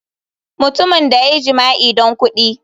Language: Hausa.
Mutumin da ya yi jima'i don kudi.